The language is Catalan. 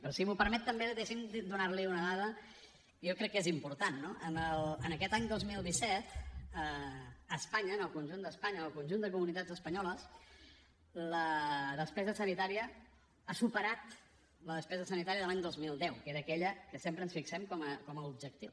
però si m’ho permet també deixi’m donar li una dada que jo crec que és important no en aquest any dos mil disset a espanya en el conjunt d’espanya en el conjunt de comunitats espanyoles la despesa sanitària ha superat la despesa sanitària de l’any dos mil deu que era aquella que sempre ens fixem com a objectiu